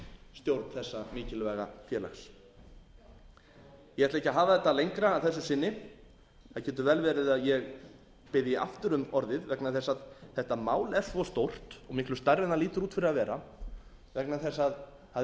stjórn þessa mikilvæga félags ég ætla ekki að hafa þetta lengra að þessu sinni það getur vel verið að ég biðji aftur um orðið vegna þess að þetta mál er svo stórt og miklu stærra en það lítur út fyrir að vera vegna þess að það er ekkert